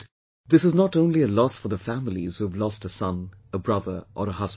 And, this is not only a loss for the families who have lost a son, a brother or a husband